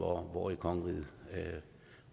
hvor i kongeriget